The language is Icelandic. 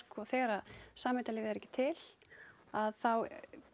þegar samheitalyfið er ekki til þá